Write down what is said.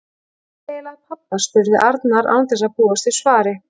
Hvað er eiginlega að pabba? spurði Arnar án þess að búast við svari.